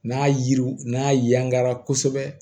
N'a yiriw n'a yangara kosɛbɛ